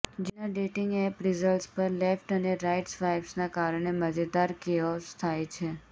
જેના dating app results પર left અને રાઇટ સ્વાઇપ્સના કારણે મજેદાર કેઓસ થાય છે